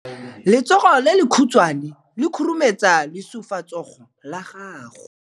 Letsogo le lekhutshwane le khurumetsa lesufutsogo la gago.